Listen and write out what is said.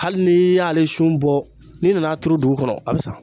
Hali ni y'ale sun bɔ n'i nan'a turu dugu kɔnɔ a bɛ sa